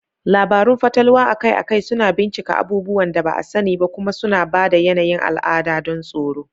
Labarun fatalwa akai-akai suna bincika abubuwan da ba a sani ba kuma suna ba da yanayin al'ada don tsoro.